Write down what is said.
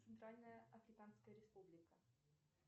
центральная африканская республика